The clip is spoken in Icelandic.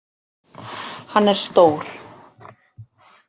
Hann er stór.